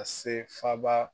Ka se faaba